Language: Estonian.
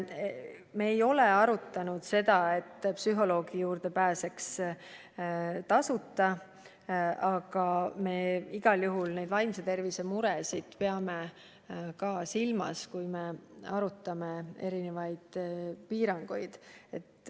Me ei ole arutanud seda, et psühholoogi juurde võiks pääseda tasuta, aga me igal juhul vaimse tervise muresid peame ka silmas, kui me arutame erinevaid piiranguid.